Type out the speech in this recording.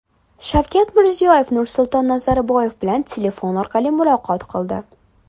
Shavkat Mirziyoyev Nursulton Nazarboyev bilan telefon orqali muloqot qildi.